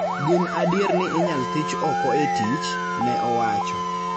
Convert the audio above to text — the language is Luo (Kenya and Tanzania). gin adier ni inyal thich oko e tich, ne owacho.